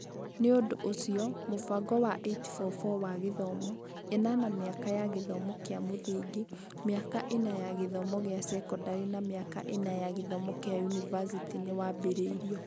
Nĩ ũndũ ũcio, mũbango wa 8-4-4 wa gĩthomo (8 mĩaka ya gĩthomo kĩa mũthingi, mĩaka 4 ya gĩthomo kĩa sekondarĩ na mĩaka 4 ya gĩthomo kĩa yunivasĩtĩ) nĩ wambĩrĩirio.